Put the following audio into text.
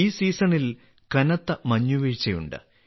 ഈ സീസണിൽ കനത്ത മഞ്ഞുവീഴ്ചയുണ്ട്